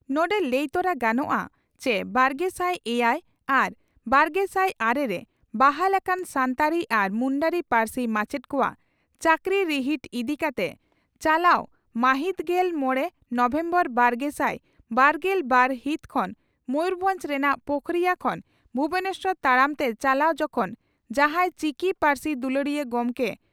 ᱱᱚᱰᱮ ᱞᱟᱹᱭ ᱛᱚᱨᱟ ᱜᱟᱱᱚᱜᱼᱟ ᱪᱤ ᱵᱟᱨᱜᱮᱥᱟᱭ ᱮᱭᱟᱭ ᱟᱨ ᱵᱟᱨᱜᱮᱥᱟᱭ ᱟᱨᱮ ᱨᱮ ᱵᱟᱦᱟᱞ ᱟᱠᱟᱱ ᱥᱟᱱᱛᱟᱲᱤ ᱟᱨ ᱢᱩᱱᱰᱟᱹᱨᱤ ᱯᱟᱹᱨᱥᱤ ᱢᱟᱪᱮᱛ ᱠᱚᱣᱟᱜ ᱪᱟᱹᱠᱨᱤ ᱨᱤᱦᱤᱴ ᱤᱫᱤ ᱠᱟᱛᱮ ᱪᱟᱞᱟᱣ ᱢᱟᱹᱦᱤᱛᱜᱮᱞ ᱢᱚᱲᱮ ᱱᱚᱵᱷᱮᱢᱵᱚᱨ ᱵᱟᱨᱜᱮᱥᱟᱭ ᱵᱟᱨᱜᱮᱞ ᱵᱟᱨ ᱦᱤᱛ ᱠᱷᱚᱱ ᱢᱚᱭᱩᱨᱵᱷᱚᱸᱡᱽ ᱨᱮᱱᱟᱜ ᱯᱳᱠᱷᱚᱨᱤᱭᱟᱹ ᱠᱷᱚᱱ ᱵᱷᱩᱵᱚᱱᱮᱥᱚᱨ ᱛᱟᱲᱟᱢ ᱛᱮ ᱪᱟᱞᱟᱣ ᱡᱚᱠᱷᱚᱱ ᱡᱟᱦᱟᱸᱭ ᱪᱤᱠᱤ ᱯᱟᱹᱨᱥᱤ ᱫᱩᱞᱟᱹᱲᱤᱭᱟᱹ ᱜᱚᱢᱠᱮ ᱡᱚᱢ